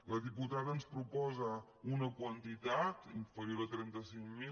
la diputada ens proposa una quantitat inferior a trenta cinc mil